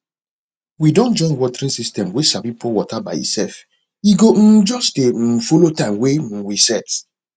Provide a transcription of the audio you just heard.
we don join watering system way sabi pour water by itself e go um just dey um follow time wey um we set